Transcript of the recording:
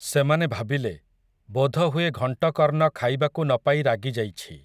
ସେମାନେ ଭାବିଲେ, ବୋଧହୁଏ ଘଂଟକର୍ଣ୍ଣ ଖାଇବାକୁ ନ ପାଇ ରାଗିଯାଇଛି ।